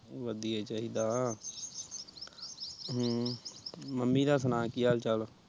ਵਧੀਆ ਹੀ ਚਾਹੀਦਾ ਹਮ ਮਮ੍ਮੀ ਦਾ ਸੁਣਾ ਕਿ ਹਾਲ ਚਾਲ ਆ